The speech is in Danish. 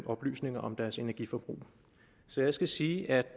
oplysninger om deres energiforbrug så jeg skal sige at